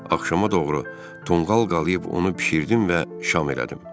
Axşama doğru tonqal qalıyıb onu bişirdim və şam elədim.